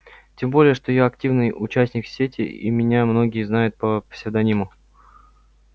тем более что я активный участник сети и меня многие знают по псевдониму